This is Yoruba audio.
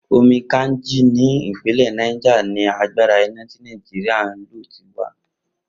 Omi Kainji ní ìpínlè̩ Niger ni agbára iná tí Nàìjíríà ń lò ti wá